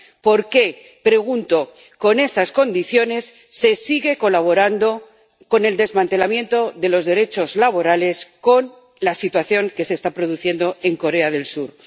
Por qué, pregunto, con estas condiciones se sigue colaborando con el desmantelamiento de los derechos laborales, con la situación que se está produciendo en Corea del Sur.